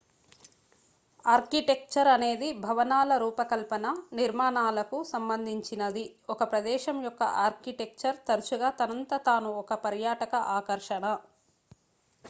architecture అనేది భవనాల రూపకల్పన నిర్మాణాలకు సంబంధించినది ఒక ప్రదేశం యొక్క ఆర్కిటెక్చర్ తరచుగా తనంత తాను ఒక పర్యాటక ఆకర్షణ